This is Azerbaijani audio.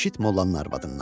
Eşit mollanın arvadından.